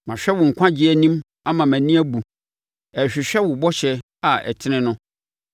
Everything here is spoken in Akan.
Mahwɛ wo nkwagyeɛ anim ama mʼani abu, ɛrehwehwɛ wo bɔhyɛ a ɛtene no.